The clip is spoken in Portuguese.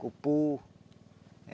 Cupu.